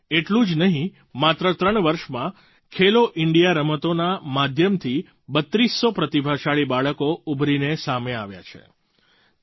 એટલું જ નહીં માત્ર ત્રણ વર્ષમાં ખેલો ઇન્ડિયા રમતોના માધ્યમથી બત્રીસ સો પ્રતિભાશાળી બાળકો ઉભરીને સામે આવ્યાં છે